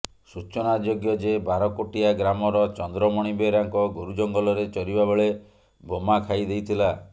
ସୂଚନାଯୋଗ୍ୟ ଯେ ବାରକୋଟିଆ ଗ୍ରାମର ଚନ୍ଦ୍ରମଣି ବେହେରାଙ୍କ ଗୋରୁ ଜଙ୍ଗଲରେ ଚରିବା ବେଳେ ବୋମା ଖାଇ ଦେଇଥିଲା